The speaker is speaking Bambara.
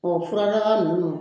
Ɔ furadaga ninnu